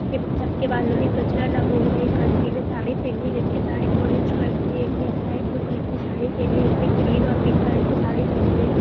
सब के बालों में गजरा लगा हुआ है एक आंटी ने साड़ी पहनी है जिनकी साड़ी ऑरेंज कलर की है एक ब्लू कलर की साड़ी पहनी है एक ने ग्रीन और पिंक कलर की साड़ी पहनी है।